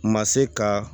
Ma se ka